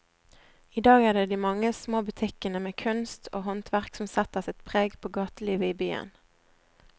I dag er det de mange små butikkene med kunst og håndverk som setter sitt preg på gatelivet i byen.